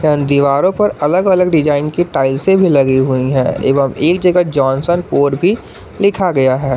यहां दीवारों पर अलग अलग डिजाइन की टाइल्सें से भी लगी हुई हैं एवं एक जगह जॉनसन पोर भी लिखा गया है।